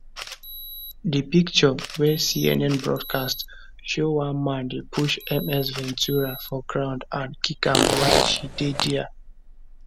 di pictures wey cnn broadcast show one man dey push ms ventura for ground and kick am while she dey dia